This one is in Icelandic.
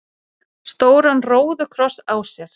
stóran róðukross á sér.